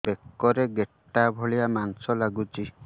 ବେକରେ ଗେଟା ଭଳିଆ ମାଂସ ଲାଗୁଚି